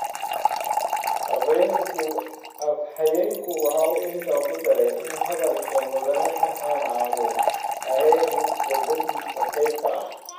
Afhayeenku waxa uu intaa ku daray in hadalka Mudane Farxan aanu ahayn mid khudbadiisa qayb ka ah.